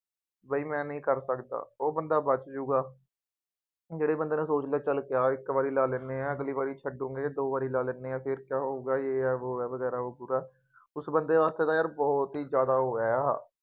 ਬਈ ਮੈਂ ਐਵੇਂ ਨਹੀਂ ਕਰ ਸਕਦਾ, ਉਹ ਬੰਦਾ ਬੱਚ ਜਾਊਗਾ ਜਿਹੜੇ ਬੰਦੇ ਨੇ ਸੋਚ ਲਿਆਂ ਚੱਲ ਯਾਰ ਇੱਕ ਵਾਰੀ ਲਾ ਲੈਂਦੇ ਹਾਂ ਅਗਲੀ ਵਾਰੀ ਛੱਡੂਗੇ, ਦੋ ਵਾਰੀ ਲਾ ਲੈਂਦੇ ਹਾਂ, ਫੇਰ ਕਿਆ ਹੋਊਗਾ, ਯੇਹ ਹੈ, ਵੋਹ ਹੈ, ਵਗੈਰਾ ਹੋ ਜਾਉਗਾ, ਉਸ ਬੰਦੇ ਵਾਸਤੇ ਤਾਂ ਯਾਰ ਬਹੁਤ ਹੀ ਜ਼ਿਆਦਾ ਉਹ ਹੈ